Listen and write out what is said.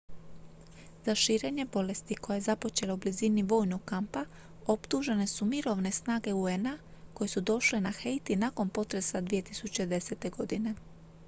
za širenje bolesti koja je započela u blizini vojnog kampa optužene su mirovne snage un-a koje su došle na haiti nakon potresa 2010. godine